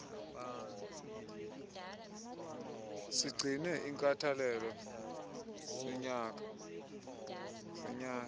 sigcine inkathalelo sinyange